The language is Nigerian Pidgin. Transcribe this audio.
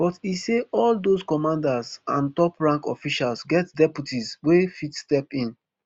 but e say all those commanders and toprank officials get deputies wey fit step in